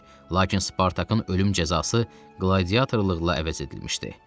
Lakin Spartakın ölüm cəzası qladiatorluqla əvəz edilmişdi.